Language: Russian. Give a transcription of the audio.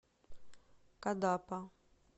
кадапа